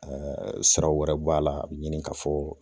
siraw wɛrɛ b'a la a bi ɲini ka fɔ